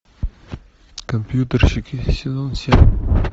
компьютерщики сезон семь